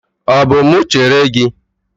Ọ bụ mụ chere gị?